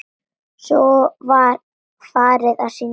Svo var farið að syngja.